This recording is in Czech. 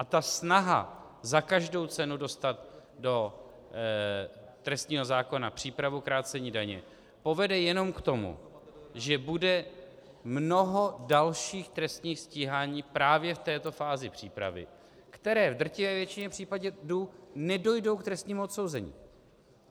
A ta snaha za každou cenu dostat do trestního zákona přípravu krácení daně povede jenom k tomu, že bude mnoho dalších trestních stíhání právě v této fázi přípravy, které v drtivé většině případů nedojdou k trestnímu odsouzení.